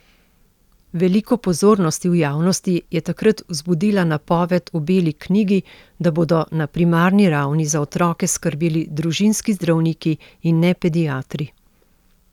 Veliko pozornosti v javnosti je takrat vzbudila napoved v beli knjigi, da bodo na primarni ravni za otroke skrbeli družinski zdravniki in ne pediatri.